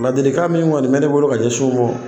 Ladili kan min kɔni bɛ ne bolo ka ɲɛsin u mɔ.